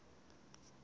i munhu loyi a nga